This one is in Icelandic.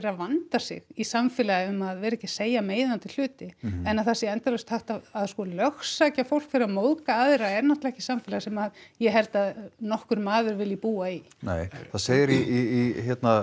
að vanda sig í samfélagi um að vera ekki að segja meiðandi hluti en að það sé sko endalaust hægt að lögsækja fólk fyrir að móðga aðra er náttúrulega ekki samfélag sem ég held að nokkur maður vilji búa í nei það segir í